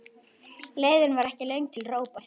Leiðin var ekki löng til Róberts.